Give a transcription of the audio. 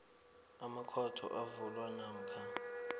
amakhotho avulwa namkha